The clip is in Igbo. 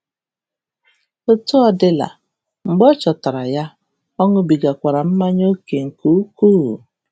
Etu ọ dịla, mgbe ọ chọtara ya, ọ “ṅụbigakwara mmanya oke nke ukwuu”